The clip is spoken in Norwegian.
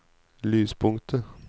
lyspunktet